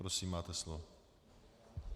Prosím, máte slovo.